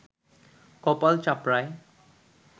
কপাল চাপড়ায়